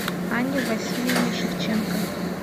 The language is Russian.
анне васильевне шевченко